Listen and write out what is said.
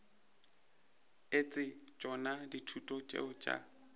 etse tšona dithuto tšeo tša